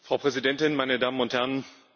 Frau Präsidentin, meine Damen und Herren!